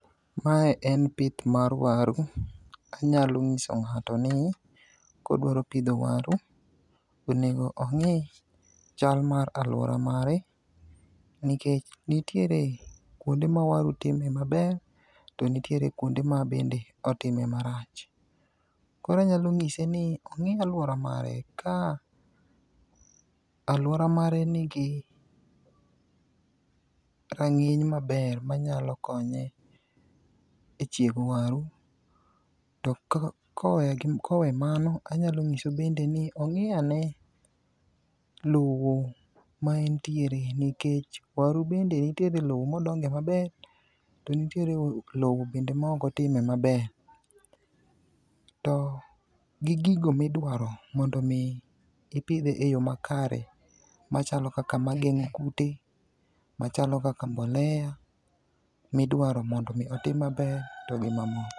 Mae en pith mar waru. Anyalo ng'iso ng'ato ni kodwaro pidho waru to onego ong'i chal mar alwora mare, nikech nitiere kuonde ma waru time maber to nitiere kuonde mabende otimo marach. Koro anyalo ng'ise ni ong'i alwora mare ka alwora mare nigi rang'iny maber manyalo konye e chiego waru, to kowe mano anyalo nyise bende ni ong'i ane lowo ma entiere nikech waru bende nitiere lowo modonge maber to ntiere lowo bende maok otime maber. To gi gigo midwaro mondo omi ipidhe e yo makare machalo kaka mageng'o kute, machalo kaka mbolea midwaro mondo omi otim maber to gi mamoko.